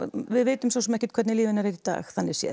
við vitum svo sem ekkert hvernig líf hennar er í dag þannig séð